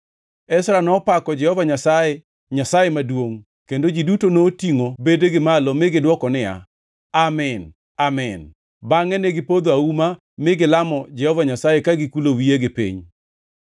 Ezra nopako Jehova Nyasaye, Nyasaye Maduongʼ, kendo ji duto notingʼo bedegi malo mi gidwoko niya, “Amin! Amin!” Bangʼe negipodho auma mi gilamo Jehova Nyasaye ka gikulo wiyegi piny.